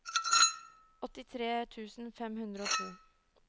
åttitre tusen fem hundre og to